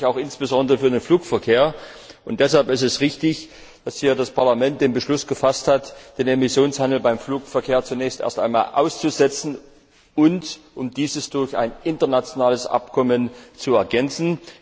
Das gilt natürlich auch insbesondere für den Flugverkehr, und deshalb ist es richtig, dass hier das Parlament den Beschluss gefasst hat, den Emissionshandel beim Flugverkehr zunächst einmal auszusetzen, und diesen durch ein internationales Abkommen zu ergänzen.